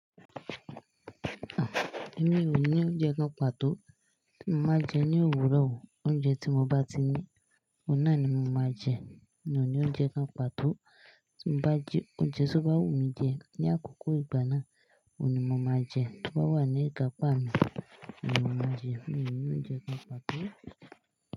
Èmi ò ní oúnjẹ kan pàtó. Mo máa jẹ ní òwúrọ̀ o. Oúnjẹ tí mo bá ti ní, ọ̀un na ni mo máa jẹ. Mi ò ní oúnjẹ kan pàtó. Tí mo bá jẹ oúnjẹ tí ó bá wù mí jẹ ní àkókò ìgbà náà, òun ni mo máa jẹ. Tí ó bá wà ní ìka pa mi, òun ni mo máa n jẹ. Mi ò ní oúnjẹ kan pàtó.